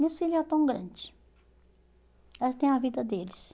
Meus filhos já estão grandes já têm a vida deles.